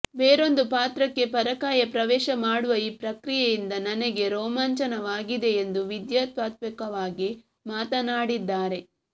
ಬೇರೊಂದು ಪಾತ್ರಕ್ಕೆ ಪರಕಾಯ ಪ್ರವೇಶ ಮಾಡುವ ಈ ಪ್ರಕ್ರಿಯೆಯಿಂದ ನನಗೆ ರೋಮಾಂಚನವಾಗಿದೆ ಎಂದು ವಿದ್ಯಾ ತಾತ್ವಿಕವಾಗಿ ಮಾತನಾಡಿದ್ದಾರೆ